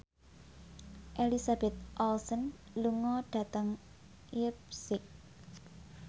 Elizabeth Olsen lunga dhateng leipzig